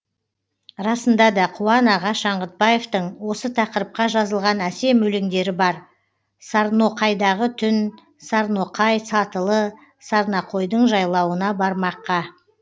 расында да қуан аға шаңғытбаевтың осы тақырыпқа жазылған әсем өлеңдері бар сарноқайдағы түн сарноқай сатылы сарноқайдың жайлауына бармаққа